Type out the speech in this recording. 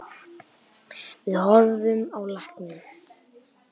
Við horfðum á lækninn.